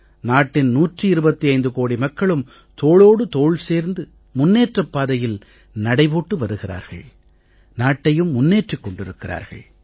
நாட்டின் 125 கோடி மக்களும் தோளோடு தோள் சேர்த்து முன்னேற்றப் பாதையில் நடை போட்டு வருகிறார்கள் நாட்டையும் முன்னேற்றிக் கொண்டிருக்கிறார்கள்